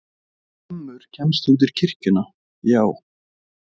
Hvammur kemst undir kirkjuna, já.